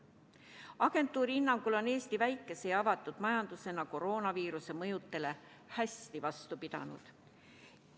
Agentuuri hinnangul on Eesti väikese ja avatud majandusena koroonaviiruse mõjudele hästi vastu pidanud.